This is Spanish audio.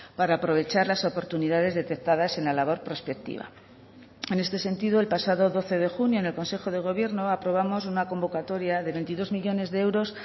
para aprovechar las oportunidades detectadas en la labor prospectiva en este sentido el pasado doce de junio en el consejo de gobierno aprobamos una convocatoria de veintidós millónes de euros